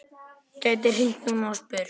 Gæti hringt núna og spurt.